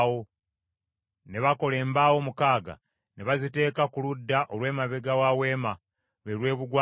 Ne bakola embaawo mukaaga, ne baziteeka ku ludda olw’emabega wa Weema, lwe lw’ebugwanjuba;